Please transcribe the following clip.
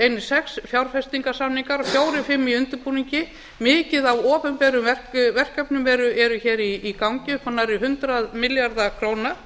einir sex fjárfestingarsamningar fjórar til fimm í undirbúningi mikið af opinberum verkefnum eru í gangi upp á nærri hundrað milljarða króna